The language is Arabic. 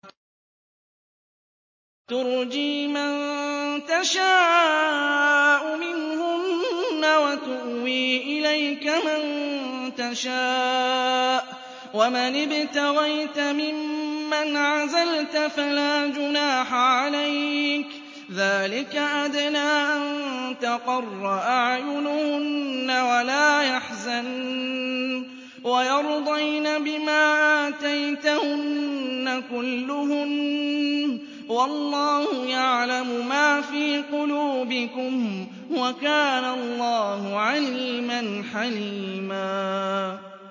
۞ تُرْجِي مَن تَشَاءُ مِنْهُنَّ وَتُؤْوِي إِلَيْكَ مَن تَشَاءُ ۖ وَمَنِ ابْتَغَيْتَ مِمَّنْ عَزَلْتَ فَلَا جُنَاحَ عَلَيْكَ ۚ ذَٰلِكَ أَدْنَىٰ أَن تَقَرَّ أَعْيُنُهُنَّ وَلَا يَحْزَنَّ وَيَرْضَيْنَ بِمَا آتَيْتَهُنَّ كُلُّهُنَّ ۚ وَاللَّهُ يَعْلَمُ مَا فِي قُلُوبِكُمْ ۚ وَكَانَ اللَّهُ عَلِيمًا حَلِيمًا